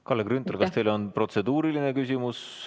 Kalle Grünthal, kas teil on protseduuriline küsimus?